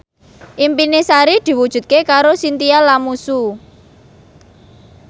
impine Sari diwujudke karo Chintya Lamusu